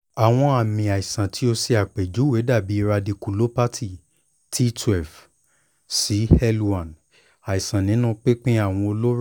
awọn aami aisan ti o ṣe apejuwe dabi radiculopathy t twelve si lone aisan ninu pinpin awọn oloro